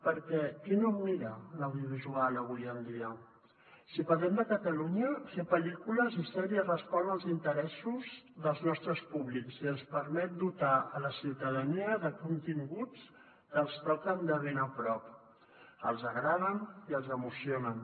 perquè qui no mira l’audiovisual avui en dia si parlem de catalunya fer pel·lícules i sèries respon als interessos dels nostres públics i ens permet dotar la ciutadania de continguts que els toquen de ben a prop els agraden i els emocionen